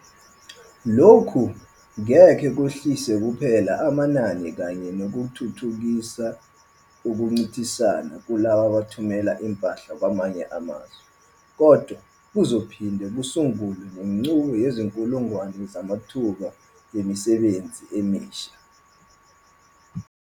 Lokhu ngeke kwehlise kuphela amanani kanye nokuthuthukisa ukuncintisana kulabo abathumela impahla kwamanye amazwe, kodwa kuzophinde kusungule nenqubo yezinkulungwane zamathuba emisebenzi emisha.